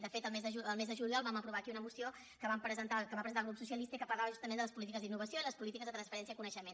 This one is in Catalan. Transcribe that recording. de fet el mes de juliol vam aprovar aquí una moció que va presentar el grup socialista i que parlava justament de les polítiques d’innovació i les polítiques de transferència del coneixement